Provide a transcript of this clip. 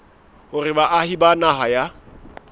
hore baahi ba naha ya